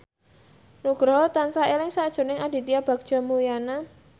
Nugroho tansah eling sakjroning Aditya Bagja Mulyana